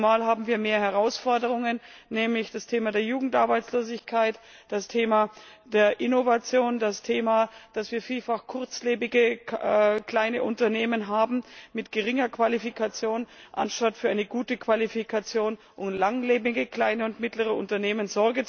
Zumal wir mehr Herausforderungen haben, nämlich das Thema Jugendarbeitslosigkeit, das Thema Innovation, das Thema, dass wir vielfach kurzlebige kleine Unternehmen mit geringer Qualifikation haben anstatt gute Qualifikationen und langlebige kleinere und mittlere Unternehmen.